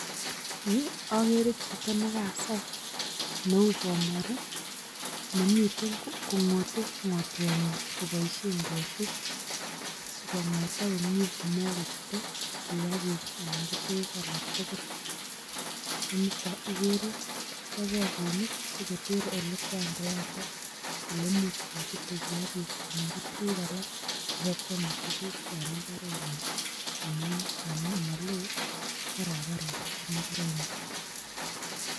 Yu akere chito ne kasai neu bomori nemiten kongote ngotwenyin koboisien ketik, si kongotak komie komakochute kiagik anan ko tukuk alak tugul, ko nito ikere kachop bakoinik sikoter ole kwa ngoyatak ole much kochute kiagik anan ko tukuk alak ibo kwome tukuk en imbarenyin amu maloo barbaret ak imbarenyin.